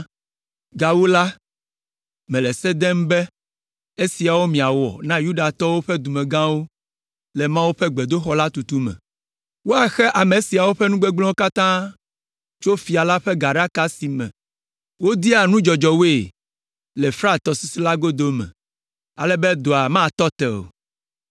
Gawu la, mele se dem be, esiawo miawɔ na Yudatɔwo ƒe dumegãwo le Mawu ƒe gbedoxɔ la tutu me: Woaxe ame siawo ƒe nugbegblẽwo katã tso fia la ƒe gaɖaka si me wodea nudzɔdzɔwoe le Frat tɔsisi la godo me, ale be dɔa matɔ te o.